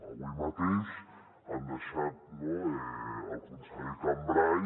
avui mateix han deixat el conseller cambray